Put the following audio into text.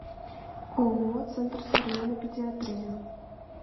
ооо центр современной педиатрии